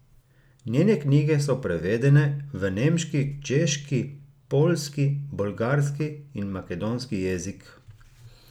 Njene knjige so prevedene v nemški, češki, poljski, bolgarski in makedonski jezik.